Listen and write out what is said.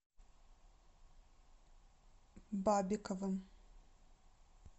бабиковым